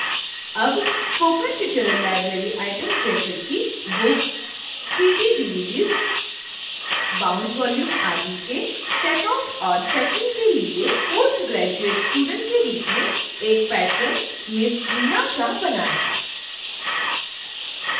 अब spoken tutorial library items जैसे कि books cd/dvds bound volumes आदि के checkout और checkin के लिए postgraduate student के रूप में एक patron ms reena shah बनाएँ